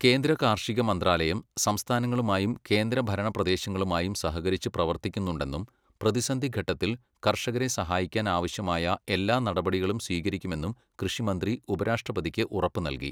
കേന്ദ്ര കാർഷിക മന്ത്രാലയം സംസ്ഥാനങ്ങളുമായും കേന്ദ്രഭരണപ്രദേശങ്ങളുമായും സഹകരിച്ചു പ്രവർത്തിക്കുന്നുണ്ടെന്നും പ്രതിസന്ധിഘട്ടത്തിൽ കർഷകരെ സഹായിക്കാൻ ആവശ്യമായ എല്ലാ നടപടികളും സ്വീകരിക്കുമെന്നും കൃഷിമന്ത്രി ഉപരാഷ്ട്രപതിക്ക് ഉറപ്പ് നല്കി.